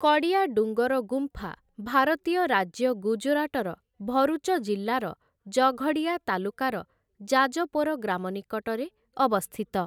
କଡୀୟା ଡୁଙ୍ଗର ଗୁମ୍ଫା ଭାରତୀୟ ରାଜ୍ୟ ଗୁଜରାଟର ଭରୁଚ ଜିଲ୍ଲାର ଜଘଡୀୟା ତାଲୁକାର ଜାଜପୋର ଗ୍ରାମ ନିକଟରେ ଅବସ୍ଥିତ ।